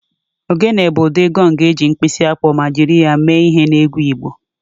Ogene bụ ụdị gọng eji mkpisi akpọ ma jiri ya mee ihe n'egwu Igbo